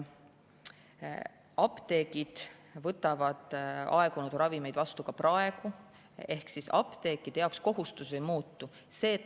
Apteegid võtavad aegunud ravimeid vastu ka praegu ehk apteekide jaoks kohustus ei muutu.